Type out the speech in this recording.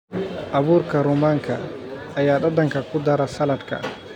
Abuurka rummaanka ayaa dhadhanka ku dara saladhka.